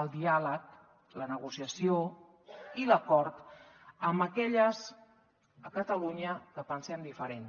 el diàleg la negociació i l’acord amb aquelles a catalunya que pensem diferent